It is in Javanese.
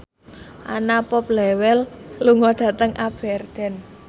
Anna Popplewell lunga dhateng Aberdeen